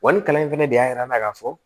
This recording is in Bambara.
Wa ni kalan in fɛnɛ de y'a yira n'a ka fɔ